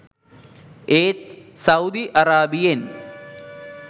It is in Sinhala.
ඒත් සෞවුදි අරාබියෙන්